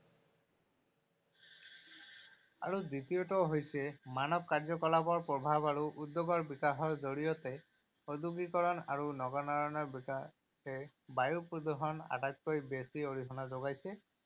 আৰু দ্বিতীয়টো হৈছে মানৱ কাৰ্যকলাপৰ প্ৰভাৱ আৰু উদ্যোগৰ বিকাশৰ জৰিয়তে। ঔদ্যোগিকৰণ আৰু নগৰায়নৰ বিকাশে বায়ু প্ৰদূষণত আটাইতকৈ বেছি অৰিহণা যোগাইছে।